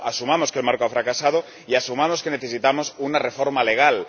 Por lo tanto, asumamos que el Marco ha fracasado y asumamos que necesitamos una reforma legal.